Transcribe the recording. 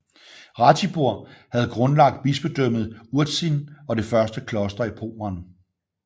Ratibor havde grundlagt bispedømmet Urzin og det første kloster i Pommern